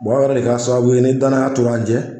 o yɛrɛ de kɛra sababu ye ni danaya tora an cɛ.